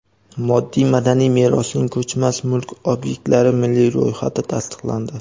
Moddiy madaniy merosning ko‘chmas mulk obyektlari milliy ro‘yxati tasdiqlandi.